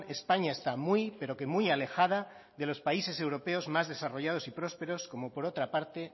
españa está muy pero que muy alejada de los países europeos más desarrollados y prósperos como por otra parte